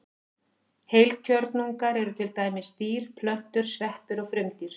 Heilkjörnungar eru til dæmis dýr, plöntur, sveppir og frumdýr.